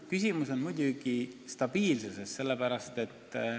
Küsimus on muidugi stabiilsuses.